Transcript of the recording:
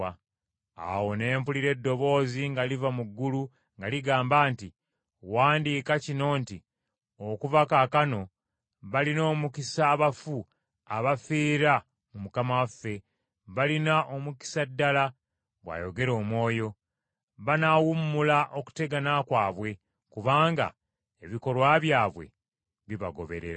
Awo ne mpulira eddoboozi nga liva mu ggulu nga ligamba nti, “Wandiika kino nti okuva kaakano, balina omukisa abafu, abafiira mu Mukama waffe.” “Balina omukisa ddala,” bw’ayogera Omwoyo. “Banaawummula okutegana kwabwe, kubanga ebikolwa byabwe bibagoberera.”